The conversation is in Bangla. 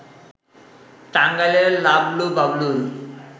টাঙ্গাইলের লাবলু-বাবলুর